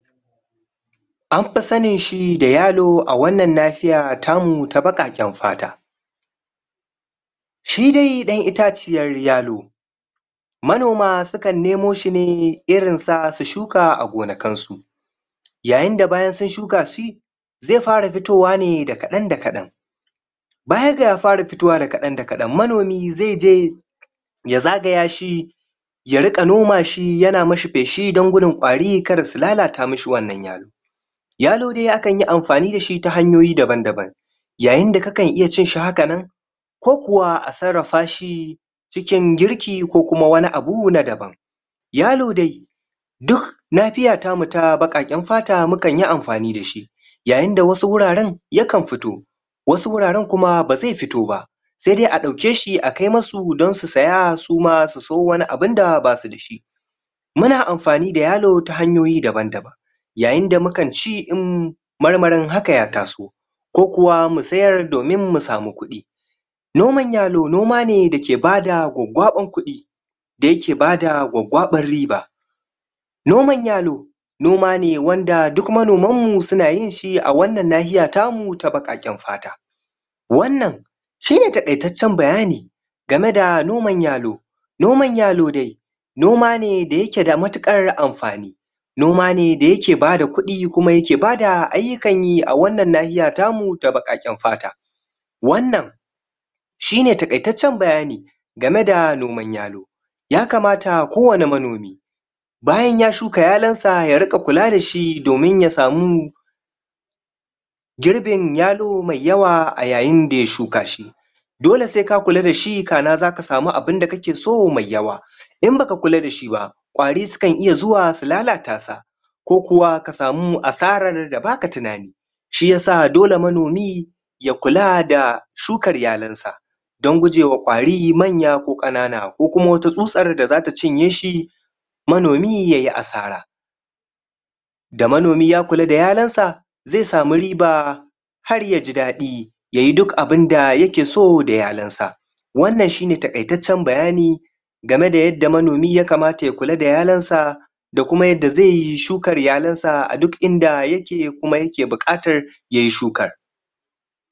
an fa sanin shi da yalo an wannan lafiya ta mu ta baƙaken fata shi dai dan itaciyar yalo manoma su kan nemo shi ne irin sa su shuka a gonkin su yayin da bayan sun shuka shi zai fara fitowa ne da kadan da kadan baya ga ya fara fitowa da kadan da kadan manomi zai je ya zagaya shi ya rinka nomashi ya na mi shi feshi dan gudun kwari kar su lalata mi shi wannan yalo yalo dai akan yi amfani da shi ta hanyoyi daban daban yayin da kakan iya cin shi hakan nan ko kuwa a sarrafa shi cikin girki ko kuma wani abu na daban yalo dai duk lafiyan ta mu na baƙaken fata mu kan yi amfani da shi yayin da wasu wuraen yakan fito wasu wuraren kuma ba zai firo ba sai dai a dauke shi a kai masu dan su saya su ma su sayo wani abu da ba su da shi muna amfani da yalo ta hanyoyi daban daban yayin da mukan ci in marmarin haka ya taso ko kuwa mu sayar domin mu samu kudi noman yalo noma ne da ke ba da gwagwaban kudi da ya ke ba da gwagwaban riba noman yalo noma ne wanda duk manoman mu su na yin shi a wannan lafiya ta mu ta baƙaken fata wannan shi ne takaitacen bayani ga me da noman yalo noman yalo dai noma ne da yake da matukar amfani noma ne da ya ke ba da kudi kuma da yake ba da ayukan yi a wannan lafiya ta mu ta baƙaken fata wannan shi ne takaitacen bayani ga me da noman yalo ya kamata ko wane manomi bayan ya shuka yalon sa ya rika kula da shi domin ya samu girbin yalo mai yawa a yayin da ya shuka shi girbin yalo mai yawa a yayin da ya shuka shi dole sai ka kula da shi ka'ana za ka samu abun da kake so mai yawa in ba ka kula da shi ba kwari su kan iya su zuwa su lalata shi ko kuwa ka samu asarar da ba ka tunani shi ya sa dole manomi ya kula da shukar yalor sa dan guje wa kwari manya ko kanana ko kuma wata susar da za ta cinye shi manomi ya yi asara da manomi ya kula da yalon sa zai samu riba har ya ji dadi ya yi duk abin da yake so da yalon sa wannan shi ne takaitacen bayani ga me da manomi ya kamata ya kula da yalon sa da kuma yadda zai shukar yalon sa a duk in da ya ke kuma ya ke bukatar ya yi shuka